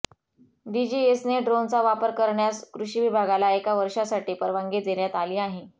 डीजीसीएने ड्रोनचा वापर करण्यास कृषी विभागाला एका वर्षासाठी परवानगी देण्यात आली आहे